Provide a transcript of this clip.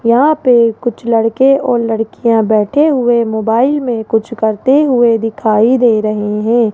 यहां पे कुछ लड़के और लड़कियां बैठे हुए मोबाइल में कुछ करते हुए दिखाई दे रहे हैं।